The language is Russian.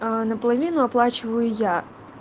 на половину оплачиваю я